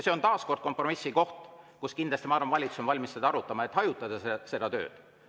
See on taas kord kompromissi koht, mida, ma arvan, valitsus on kindlasti valmis arutama, et seda tööd hajutada.